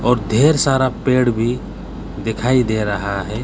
और ढेर सारा पेड़ भी दिखाई दे रहा है।